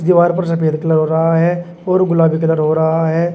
दीवार पर सफेद कलर का हो रहा है और गुलाबी कलर हो रहा है।